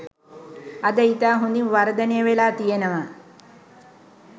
අද ඉතා හොඳින් වර්ධනය වෙලා තියෙනවා.